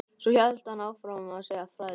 Svo hélt hann áfram að segja frægðarsögur.